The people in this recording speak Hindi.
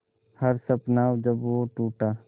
हर सपना जब वो टूटा